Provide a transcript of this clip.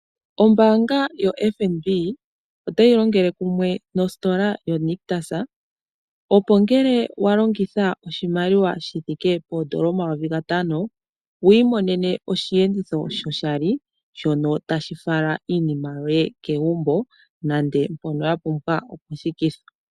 Ombaanga yoFNB otayi longele kumwe nositola yoNictus, opo ngele wa longitha oshimaliwa shi thike poondola omayovi gatano wu imonene osheenditho shoshali, shono tashi fala iinima yoye kegumbo nande mpono ya pumbwa oku thikithwa.